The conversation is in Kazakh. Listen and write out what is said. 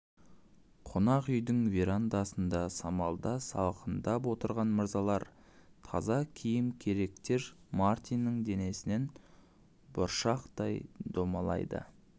қонақ үйдің верандасында самалда салқындап отырған мырзаларға таза киім керектер мартиннің денесінен бұршақтай домалайды